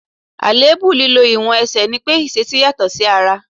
Àléébù lílọ ìwọ̀n Ẹsẹ̀ ní pé ìṣísẹ́ yàtọ̀ sí ara.